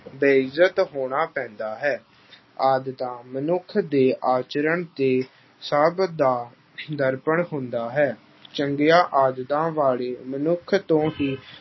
ਬੇਇੱਜ਼ਤ ਹੋਣਾ ਪੈਂਦਾ ਹੈ। ਆਦਤਾਂ ਮਨੁੱਖ ਦੇ ਆਚਰਣ ਤੇ ਸੁਭਾਅ ਦਾ ਦਰਪਣ ਹੁੰਦਾ ਹੈ। ਚੰਗੀਆਂ ਆਦਤਾਂ ਵਾਲੇ ਮਨੁੱਖ ਤੋਂ ਹੀ